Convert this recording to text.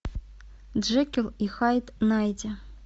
джекил и хайд найти